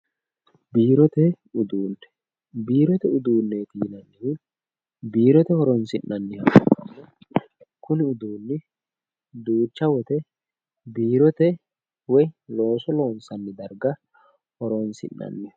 biirote uduunne biirote uduunneeti yinannihu biirote horonsi'nanniha ikkanna kuni uduunni duucha woyiite biirote woyi looso loonsanni darga horonsi'nanniho